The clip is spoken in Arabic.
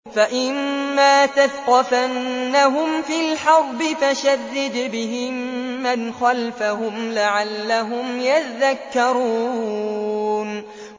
فَإِمَّا تَثْقَفَنَّهُمْ فِي الْحَرْبِ فَشَرِّدْ بِهِم مَّنْ خَلْفَهُمْ لَعَلَّهُمْ يَذَّكَّرُونَ